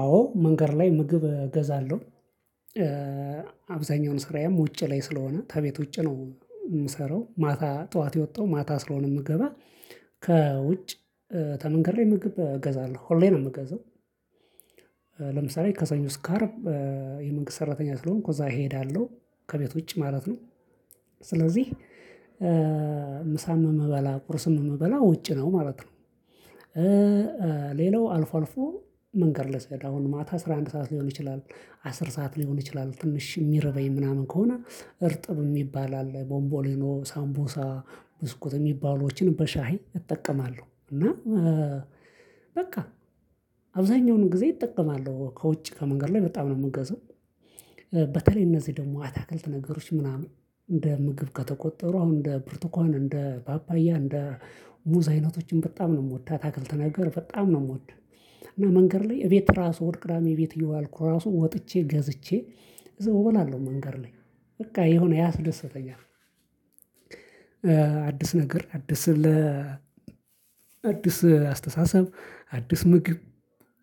አዎ መንገድ ላይ ምግብ እገዛለሁ። አብዛኛውን ስራዬም ውጪ ላይ ስለሆነ ተቤት ውጭ ነው። ምሰራው ማታ ጠዋት የወጣው ማታ ስለሆነ ምገባ። ከውጭ ተመንገድ ላይ ምግብ እገዛለሁ ሁሌ ነው ምገዛው። ለምሳሌ ከሰኞ እስከ አርብ የመንግስት ሰራተኛ ስለሆንኩ እዛ እሄዳለሁ ከቤት ውጪ ማለት ነው። ስለዚህ ምሳም እምበላ ቁርስም እምበላው ውጪ ነው ማለት ነው። ሌላው አልፎ አልፎ መንገድ ላይ ስሄድ አሁን ማታ አስራ አንድ ሰዓት ሊሆን ይችላል አስር ሰዓት ሊሆን ይችላል ትንሽ ሚርበኝ ምናምን ከሆነ እርጥብ ሚባል አለ ቦምቦሊኖ ሳምቡሳ ብስኩት እሚባሉዎችን በሻይ እጠቀማለሁ። እና በቃ አብዛኛውን ጊዜ እጠቀማለሁ ከውጭ ከመንገድ ላይ በጣም ነው ምገዛው። በተለይ እነዚህ ደግሞ አታክልት ነገሮች ምናምን እንደ ምግብ ከተቆጠሩ አሁን እንደ ብርቱካን እንደ ፓፓያ እንደ ሙዝ አይነቶችን በጣም ነው ምወድ አታክልት ነገር በጣም ነው ምወድ። እና መንገድ ላይ እቤት ራሱ እሁድ ቅዳሜ ቤት እየዋልኩ ራሱ ወጥቼ ገዝቼ እዛው እሆናለው መንገድ ላይ በቃ የሆነ ያስደስተኛል። አዲስ ነገር አዲስ ለ አዲስ አስተሳሰብ አዲስ ምግብ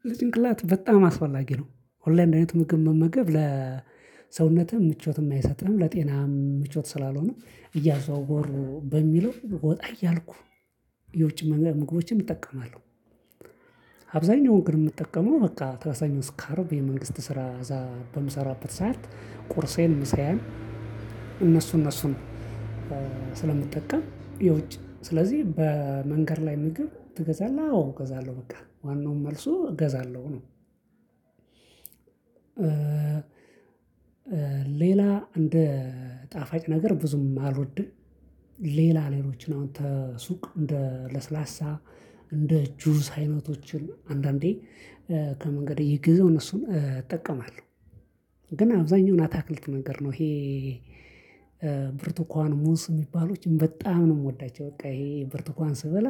ለጭንቅላት በጣም አስፈላጊ ነው። ሁሌ አንድ አይነት ምግብ መመገብ ለሰውነትም ምቾትም አይሰጥህም ለጤናህም ምቾት ስላልሆነ እያዘዋወሩ በሚለው ወጣ እያልኩ የውጭ መንገድ ምግቦችን እጠቀማለሁ። አብዛኛውን ግን ምጠቀመው በቃ ተሰኞ እስከ አርብ የመንግስት ስራ እዛ በምሰራበት ሰዓት ቁርሴን ምሳዬን። እነሱ እነሱን ስለምጠቀም የውጭ ስለዚህ በመንገድ ላይ ምግብ ትገዛለህ? አዎ እገዛለሁ በቃ ዋናውን መልሱ እገዛለሁ ነው። ሌላ እንደ ጣፋጭ ነገር ብዙም አልወድም። ሌላ ሌሎችን አሁን ተሱቅ እንደ ለስላሳ እንደ ጁስ አይነቶችን አንዳንዴ ከመንገድ እየገዛው እነሱን እጠቀማለሁ። ግን አብዛኛውን አታክልት ነገር ነው ይሄ ብርቱካን ሙዝ ሚባሉችን በጣም ነው ምወዳቸው። በቃ ይሄ ብርቱካን ስበላ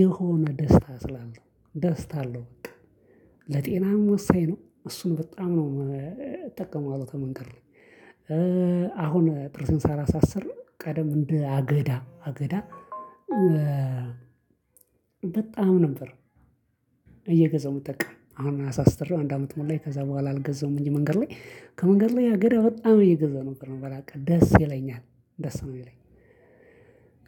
የሆነ ደስታ ስላለው ደስታ አለው በቃ ለጤናም ወሳኝ ነው። እሱን በጣም ነው እጠቀመዋለው ተመንገድ ላይ። አሁን ጥርሴን ሳላሳስር ቀደም እንደ አገዳ አገዳ። በጣም ነበር እየገዛሁ ምጠቀም አሁን አሳስተራው አንድ አመት ሞላኝ ከዛ በኋላ አልገዛሁም። እንጂ መንገድ ላይ ከመንገድ ላይ ሀገሬ በጣም ነው እገዛው ነበር ምበላ በቃ ደስ ይለኛል። ደስ ነው ሚለኝ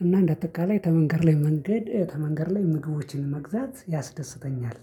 እና እንደአጠቃላይ ተመንገድ ላይ መንገድ ከመንገድ ላይ ምግቦችን መግዛት ያስደስተኛል